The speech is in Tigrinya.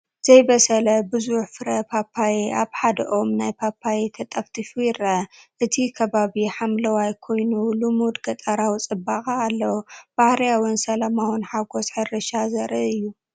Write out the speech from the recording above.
ዘይበሰለ ብዙሕ ፍረ ፓፓዮ ኣብ ሓደ ኦም ናይ ፓፓየ ተጠፍጢፉ ይረአ። እቲ ከባቢ ሓምላይ ኮይኑ ልሙድ ገጠራዊ ጽባቐ ኣለዎ። ባህርያውን ሰላማውን ሓጐስ ሕርሻ ዘርኢ እዩ።